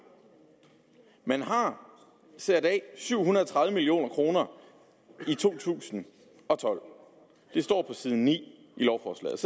man har sat syv hundrede og tredive million kroner af i to tusind og tolv det står på side ni i lovforslaget